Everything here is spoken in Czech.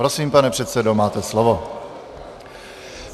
Prosím, pane předsedo, máte slovo.